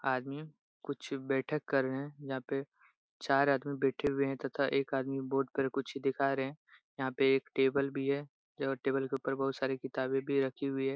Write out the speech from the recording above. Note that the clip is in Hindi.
आदमी कुछ बेथ कर रहे है। यहाँ पे चार आदमी बेठे हुवे है। तथा एक आदमी बोर्ड पर कुछ दिखा रहे है। यहाँ पे एक टेबल भी है। टेबल के उपर बहुत सारी किताबी भी रखी हुई है।